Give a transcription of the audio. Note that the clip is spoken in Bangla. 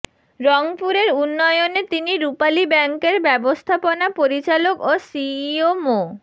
রংপুরের উন্নয়নে তিনি রূপালী ব্যাংকের ব্যবস্থাপনা পরিচালক ও সিইও মো